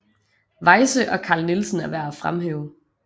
Weyse og Carl Nielsen er værd at fremhæve